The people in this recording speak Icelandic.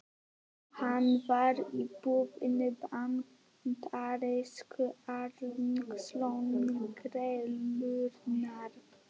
Hann var í boði bandarísku alríkislögreglunnar.